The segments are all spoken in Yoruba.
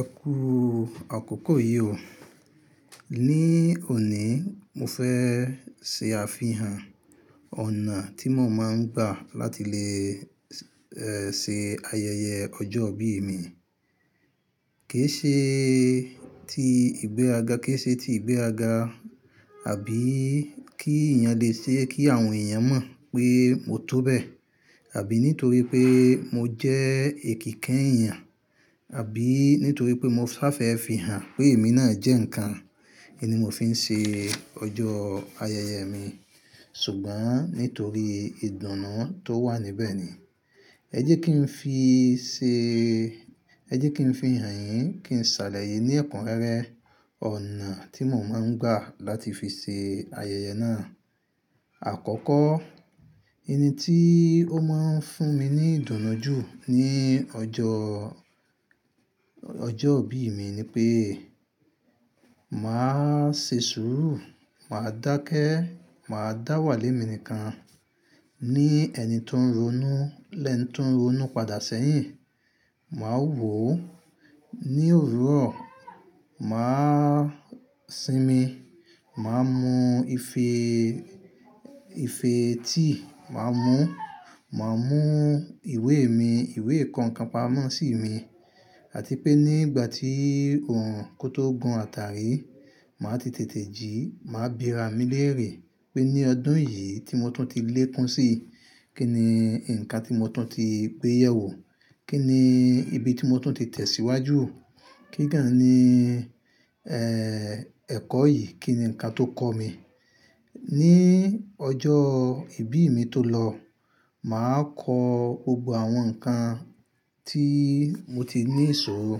Ẹ kú àkọ́kọ́ yi ó. Ni òní mo fẹ́ ṣe àfihàn ọ̀nà tí mò máa ń gbà láti lè ṣe ayẹyẹ ọjọ́ ìbí mi. Kì í ṣe ti ìgbéràga, kì í ṣe ti ìgbéràga àbí kí èèyàn lè ṣe kí àwọn èèyàn mọ̀ pé mo tó bẹ́ẹ̀ àbí nítorí pé mo jẹ́ èkèèké èèyàn àbí nítorí pé mo sá fẹ́ fi hàn pé èmi náà jẹ́ ǹkan. I ni mò fi ń ṣe ọjọ́ ayẹyẹ mi? Ṣùgbọ́n nítorí ìdùnnú tó wà níbẹ̀ ni. Ẹ jẹ́ kí n fi ṣe, ẹ jẹ́ kí n fi hàn yín kí n ṣàlàyé ní ẹ̀kúnrẹ́rẹ́ ọ̀nà tí mò máa ń gbà láti fi ṣe ayẹyẹ náà. Àkọ́kọ́, ohun tí ó máa ń fún mi ní ìdùnnú jú ní ọjọ́, ọjọ́ ìbí mi ni pé màá ṣe sùúrù, màá dákẹ́, màá dá wà lẹ́mi nìkan ní ẹni tó ń ronú, lẹ́ẹ̀ni tó ń ronú padà sẹ́yìn. Màá wò ó ní òwúrọ̀, màá sinmi, màá mú ife, ife tií màá mú, màá mú ìwé mi, ìwé kọ̀ọ̀kan pamọ́ sí mi. Àti pé nígbà tí òòrùn kó tó gun àtàrí, màá ti tètè jí, màá bìra mi lérè pé ní ọdún yìí tí mo tún ti lékún si, kí ni ǹkan tí mo tún ti gbé yẹ̀ wò? Kí ni ibi tí mo tún ti tẹ̀síwájú? Kígan ni, ẹ́, ẹ̀kọ́ yìí, kí ni ǹkan tó kọ́ mi? Ní ọjọ́ ìbí mi tó lọ, màá kọ gbogbo àwọn nǹkan tí mo ti ní ìṣòro,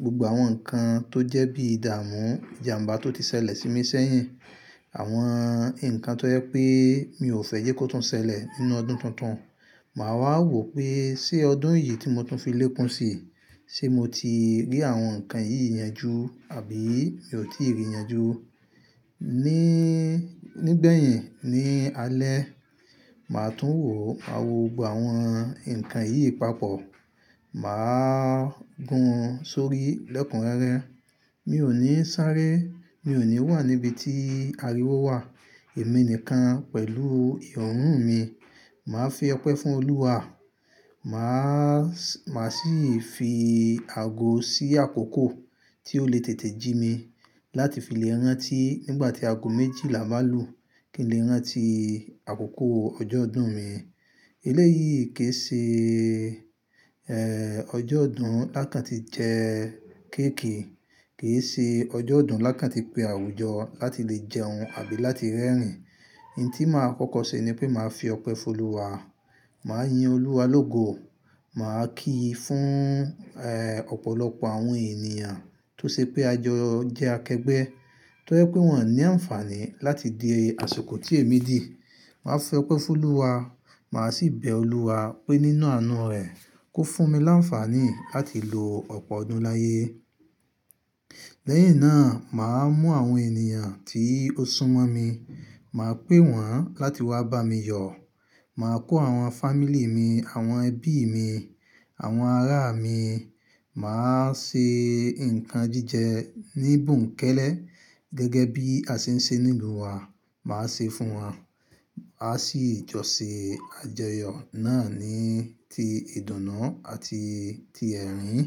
gbogbo àwọn nǹkan tó jẹ́ bí ìdàmú, ìjàmbá tó ti ṣẹlẹ̀ sí mi ṣẹ́yìn, àwọn nǹkan tó yẹ pé mi ò fẹ́ jẹ́ kó tún ṣẹlẹ̀ nínú ọdún tuntun. Màá wá wò pé ṣé ọdún yìí tí mo tún fi lékún si, ṣe mo ti rí àwọn nǹkan yìí yan ju àbí mi ò tí ì rí i yan ju? Ni, nígbẹ̀yìn ní alẹ́, màá tún wò, máa wò gbogbo àwọn nǹkan yìí papọ̀. Mà á gun sórí lẹ́kùn rẹ́rẹ́. Mi ò ní sáré, mi ò ní wà níbi tí ariwo wà. Ẹ̀mí nìkan pẹ̀lú ìròònù mi. Màá fi ọpẹ́ fún Olúwa. Mà á, mà á sì fi àgò sí àkókò tí ó lè tètè jí mi láti fi lè rán tí nígbà tí àgò méjì là báa lu kí n lè rán ti àkókò ọjọ́ ọdún mi. Elé yìí kì í ṣe, ẹ́, ọjọ́ ọdún lákàntí jẹ kééki kì í ṣe ọjọ́ ọdún lákàntí pé àwùjọ láti lè jẹun àbí láti rẹ́rìn-ín. Ohun tí màá kọ́kọ́ ṣe ni pé màá fi ọpẹ́ fún Olúwa, màá yin Olúwa lógo, mà á kí i fún, ẹ́, ọ̀pọ̀lọpọ̀ àwọn ènìyàn tó ṣe pé àjọ jẹ́ akẹgbẹ́, tó yẹ pé wọ́n ní àǹfààní láti di àsikò tí èmi dì. Màá fi ọpẹ́ fún Olúwa, mà á sì bẹ Olúwa pé nínú àánú rẹ̀ kó fún mi láǹfààní láti lo ọ̀pọ̀ ọdún láyé. Lẹ́yìn náà mà á mú àwọn ènìyàn tí ó súnmọ́ mi, màá pè wọ́n láti wá bá mi yọ̀. Mà á kó àwọn fámílí mi, àwọn ẹbí mi, àwọn ará mi, mà á se nǹkan jíjẹ ní bùnkẹ́lẹ́ gẹ́gẹ́ bí a ṣe ń ṣe nilu wa, mà á ṣe fún wọn. A sì jọ̀ ṣe àjọyọ̀ náà ní ti ìdùnnú àti ti ẹ̀rín.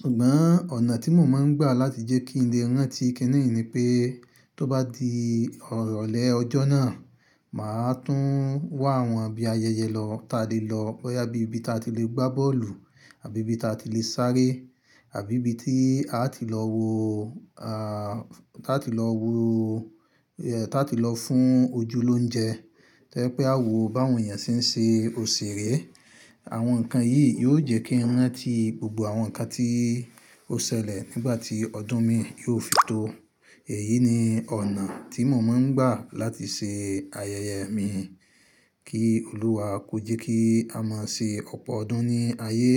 Ṣùgbọ́n ọ̀nà tí mò máa ń gbà láti jẹ́ kí n lè rán ti kini ni pé tó bá di irọ̀lẹ́ ọjọ́ náà, mà á tún wá àwọn bì ayẹyẹ lọ tá lè lọ bóyá bí ibi tí a ti lè gbá bọ́ọ̀lù àbí ibi ta ti lè sáré àbí ibi ta ti lọ wo, a, tá tí lọ wo, tá tí lọ fún ojúlónjẹ tó yẹ pé a wò bá àwọn èèyàn ṣe n se òṣèré. Àwọn nǹkan yìí yóò jẹ́ kí n rán ti gbogbo àwọn nǹkan tí ó ṣẹlẹ̀ nígbà tí ọdún mi yóò fi tó. Èyí ni ọ̀nà tí mò máa ń gbà láti ṣe ayẹyẹ mi. Kí Olúwa ko je kí a má ṣe ọ̀pọ̀ ọdún ní ayé.